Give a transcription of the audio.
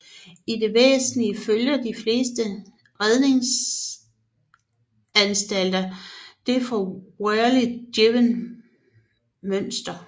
I det væsentligste følger de fleste redningsanstalter det af Wehrli givne mønster